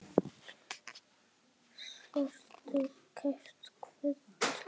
Sértu kært kvödd, elsku frænka.